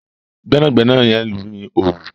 Gbẹ́nàgbẹ́nà yen ní Òòlù.